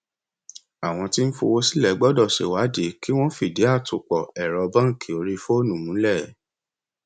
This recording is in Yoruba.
àwọn tí ń fowó sílẹ gbọdọ ṣe ìwádìí kí wọn fìdí àtòpọ ẹrọ báńkì orí fóònù múlẹ